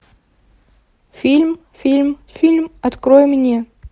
фильм фильм фильм открой мне